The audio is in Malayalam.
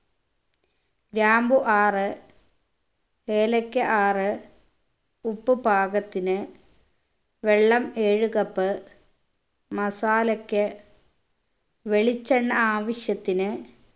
ഗ്രാമ്പു ആറ് ഏലക്ക ആറ് ഉപ്പ് പാകത്തിന് വെള്ളം ഏഴ് cup masala ക്ക് വെളിച്ചെണ്ണ ആവിശ്യത്തിന്